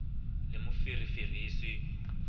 le moferefere e se e